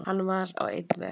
Hann var á einn veg.